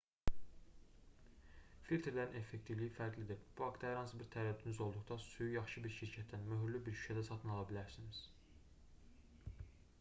filtrlərin effektivliyi fərqlidir bu haqda hər hansı bir tərəddüdünüz olduqda suyu yaxşı bir şirkətdən möhürlü bir şüşədə satın ala bilərsiniz